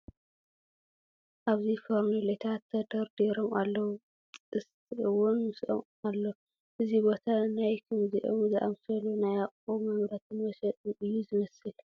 ኣብዚ ፈርኔሎታት ተደርዲሮም ኣለዉ፡፡ ጥስቲ እውን ምስኦም ኣሎ፡፡ እዚ ቦታ ናይ ከምዚኦም ዝኣምሰሉ ናይ ገዛ ኣቑሑ መምረትን መሸጥን እዩ ዝመስል፡፡